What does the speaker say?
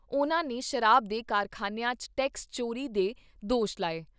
ਉਨ੍ਹਾਂ ਨੇ ਸ਼ਰਾਬ ਦੇ ਕਾਰਖਾਨਿਆਂ 'ਚ ਟੈਕਸ ਚੋਰੀ ਦੇ ਦੋਸ਼ ਲਾਏ।